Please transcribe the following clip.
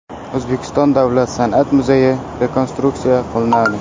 O‘zbekiston davlat san’at muzeyi rekonstruksiya qilinadi.